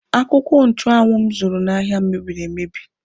Akwụkwọ nchụanwụ m zụrụ n'ahịa mebiri emebi.